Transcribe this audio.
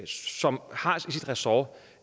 som har anklagemyndigheden som sit ressort